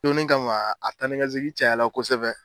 Donni kama a taa ni ka segin cayala kosɛbɛ